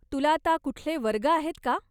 तुला आता कुठले वर्ग आहेत का?